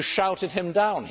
you shouted him down.